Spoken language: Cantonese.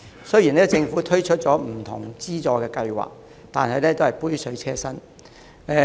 雖然政府已推出不同的資助計劃，但只是杯水車薪。